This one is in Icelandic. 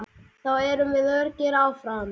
Þá erum við öruggir áfram.